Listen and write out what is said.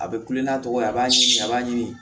A bɛ kulon n'a tɔgɔ ye a b'a sin a b'a ɲimi